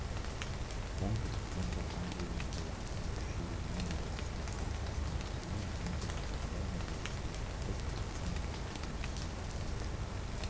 оңтүстіктен соққан желдің жылдамдығы күшеюіне байланысты қалыптасқан қиын метео жағдай нәтижесінде батыс қазақстан облысының шыңғырлау